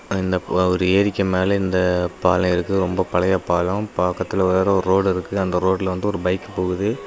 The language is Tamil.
இந்தப் ஒரு ஏரிக்க மேல இந்த பாலோ இருக்கு ரொம்ப பழைய பாலம் பாக்கத்துல வேற ஓரு ரோடு இருக்கு அந்த ரோட்ல வந்து ஓரு பைக் போகுது.